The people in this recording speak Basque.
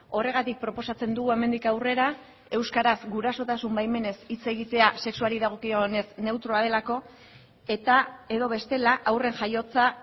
horregatik proposatzen dugu hemendik aurrera euskaraz gurasotasun baimenez hitz egitea sexuari dagokionez neutroa delako eta edo bestela haurren jaiotza